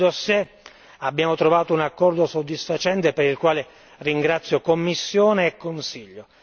Sul mio dossier abbiamo trovato un accordo soddisfacente per il quale ringrazio Commissione e Consiglio.